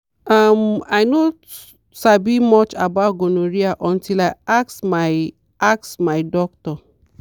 uhm i no sabi much about gonorrhea until i ask my ask my doctor.